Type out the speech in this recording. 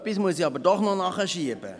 Etwas muss ich doch noch nachschieben.